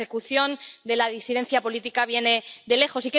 La persecución de la disidencia política viene de lejos.